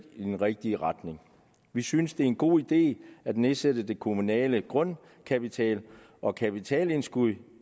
i den rigtige retning vi synes det er en god idé at nedsætte den kommunale grundkapital og kapitalindskuddet